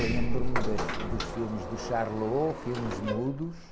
Lembro-me das fi... Dos filmes do Charlot, filmes mudos.